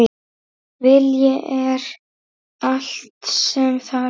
Vilji er allt sem þarf!